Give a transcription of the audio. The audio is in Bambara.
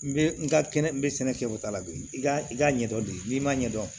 N bɛ n ka kɛnɛ n bɛ sɛnɛ kɛ o ta la bi i k'a ɲɛ dɔn bi n'i m'a ɲɛdɔn